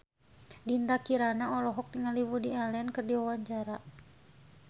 Dinda Kirana olohok ningali Woody Allen keur diwawancara